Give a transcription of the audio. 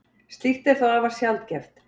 Slíkt er þó afar sjaldgæft.